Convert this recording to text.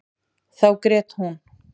Þá grét hún.